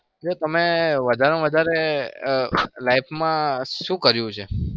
તે તમે વધારમાં વધારે life માં શું કર્યું છે?